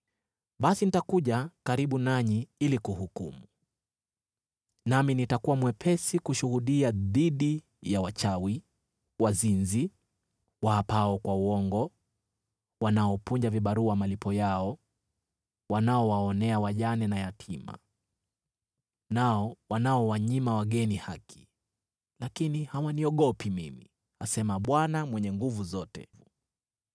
“Basi nitakuja karibu nanyi ili kuhukumu. Nami nitakuwa mwepesi kushuhudia dhidi ya wachawi, wazinzi, waapao kwa uongo, wanaopunja vibarua malipo yao, wanaowaonea wajane na yatima, na wanaowanyima wageni haki, lakini hawaniogopi mimi,” asema Bwana Mwenye Nguvu Zote.